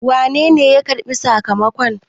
wanene ya karɓi sakamakon?